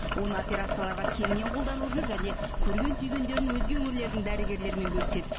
оны операцияларға кеңінен қолданып жүр және көрген түйгендерін өзге өңірлердің дәрігерлерімен бөліседі